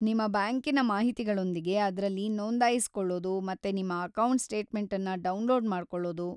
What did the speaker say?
ನಿಮ್ಮ ಬ್ಯಾಂಕಿನ ಮಾಹಿತಿಗಳೊಂದಿಗೆ ಅದ್ರಲ್ಲಿ ನೋಂದಾಯಿಸ್ಕೊಳ್ಳೋದು ಮತ್ತು ನಿಮ್ಮ ಅಕೌಂಟ್‌ ಸ್ಟೇಟ್‌ಮೆಂಟನ್ನ ಡೌನ್‌ಲೋಡ್‌ ಮಾಡ್ಕೊಳ್ಳೋದು.